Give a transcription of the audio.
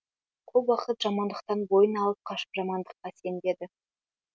көп уақыт жамандықтан бойын алып қашып жамандыққа сенбеді